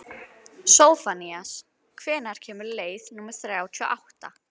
Sophanías, hvenær kemur leið númer þrjátíu og átta?